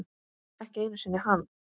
Ekki einu sinni hann.